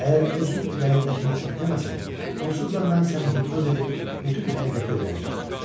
Əgər özün ürəyindəkini açıb deməsən, onsuz da mən səni hipnoz edib bütün həqiqəti öyrənəcəm.